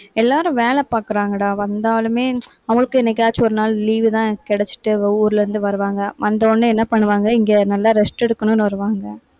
எல்லாரும் வேலை பாக்கறாங்கடா. வந்தாலுமே, அவளுக்கு என்னைக்காச்சும் ஒரு நாள் leave தான் கிடைச்சுட்டு, ஊர்ல இருந்து வருவாங்க. வந்த உடனே என்ன பண்ணுவாங்க, இங்க நல்லா rest எடுக்கணும்னு வருவாங்க